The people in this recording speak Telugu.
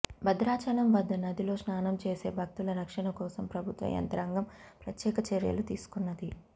భద్రాచలం వద్ద నదిలో స్నానం చేసే భక్తుల రక్షణ కోసం ప్రభుత్వ యంత్రాంగం ప్రత్యేక చర్యలు తీసుకున్నది